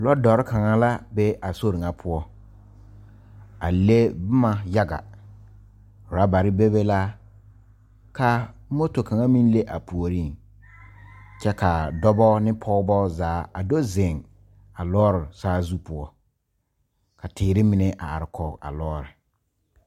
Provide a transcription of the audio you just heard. Lɔɔdɔre kaŋa la be a sori ŋa poɔ a le boma yaga orɔbare bebe la ka moto kaŋa meŋ le a puoriŋ kyɛ ka dɔba ne pɔgeba zaa a do zeŋ a lɔɔre saazu poɔ ka teere mine a are kɔge a lɔɔre.